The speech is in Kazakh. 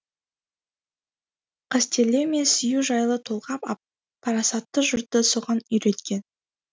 қастерлеу мен сүю жайлы толғап ап парасатты жұртты соған үйреткен